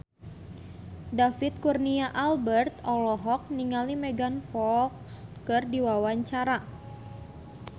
David Kurnia Albert olohok ningali Megan Fox keur diwawancara